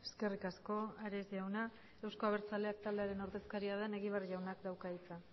eskerrik asko ares jauna euzko abertzaleak taldearen ordezkaria den egibar jaunak dauka hitza